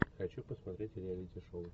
хочу посмотреть реалити шоу